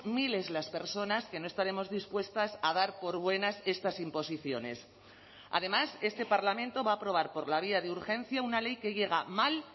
miles las personas que no estaremos dispuestas a dar por buenas estas imposiciones además este parlamento va a aprobar por la vía de urgencia una ley que llega mal